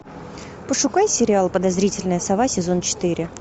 пошукай сериал подозрительная сова сезон четыре